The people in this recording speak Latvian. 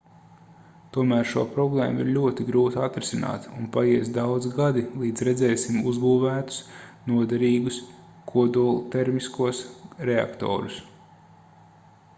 tomēr šo problēmu ir ļoti grūti atrisināt un paies daudzi gadi līdz redzēsim uzbūvētus noderīgus kodoltermiskos reaktorus